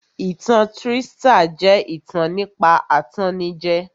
Ìtan trístà jẹ́ ìtàn nípa atannijẹ